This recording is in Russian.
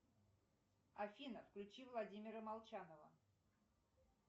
афина включи владимира молчанова